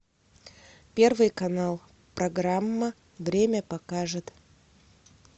первый канал программа время покажет